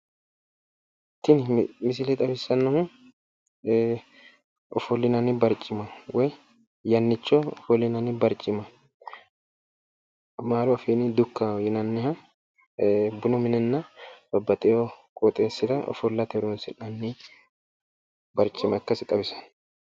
Tini misile xawissannohu ofollinanni barcima woyi yannicho ofollinanni barcima. Amaaru afiinni dukkaho yinanniha bunu minenna babbaxxiwo qoxeessira ofollate horoonsi'nanni barcima ikkasi xawisanno.